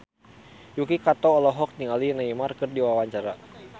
Yuki Kato olohok ningali Neymar keur diwawancara